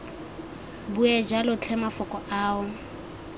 bue jalo tlhe mafoko ao